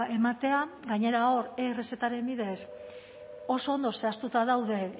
ematea gainera hor e errezetaren bidez oso ondo zehaztuta daude